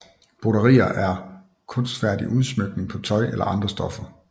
Broderi er kunstfærdig udsmykning på tøj eller andre stoffer